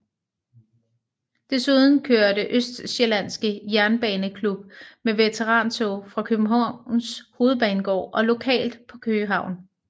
Desuden kørte Østsjællandske Jernbaneklub med veterantog fra Københavns Hovedbanegård og lokalt på Køge Havn